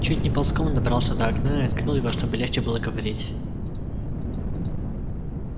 чуть не ползком добрался до окна и открыл его чтобы легче было говорить